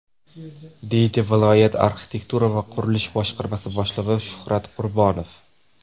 deydi viloyat arxitektura va qurilish boshqarmasi boshlig‘i Shuhrat Qurbonov.